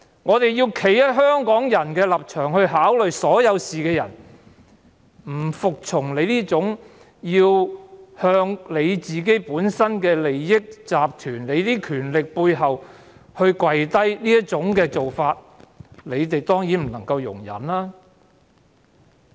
我們從香港人的立場考慮所有事，不服從她要向自身利益集團跪低的做法，他們當然不能容忍。